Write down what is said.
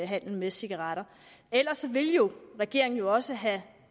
handel med cigaretter ellers ville regeringen jo også have